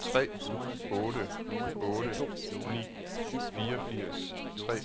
tre otte otte ni fireogfirs tre